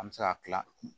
An bɛ se ka kila